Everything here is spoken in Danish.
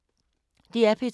DR P2